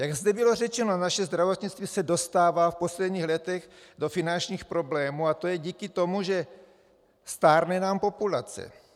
Jak zde bylo řečeno, naše zdravotnictví se dostává v posledních letech do finančních problémů a je to díky tomu, že stárne nám populace.